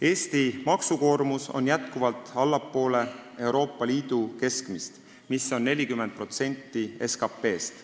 Eesti maksukoormus on jätkuvalt allpool Euroopa Liidu keskmist, mis on 40% SKT-st.